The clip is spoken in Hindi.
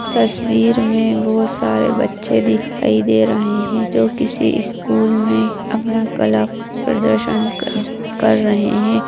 तस्वीर में बहुत सारे बच्चे दिखाई दे रहे हैं जो किसी स्कूल में अपना कला प्रदर्शन कर रहे हैं।